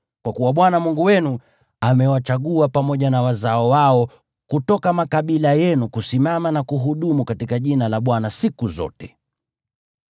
kwa kuwa Bwana Mungu wenu amewachagua pamoja na wazao wao kutoka makabila yenu kusimama na kuhudumu katika jina la Bwana siku zote.